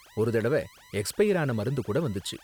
ஒரு தடவ எக்ஸ்பயர் ஆன மருந்து கூட வந்துச்சு.